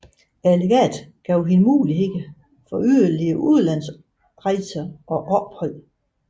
Legatet gav hende mulighed for yderligere udlandsrejser og ophold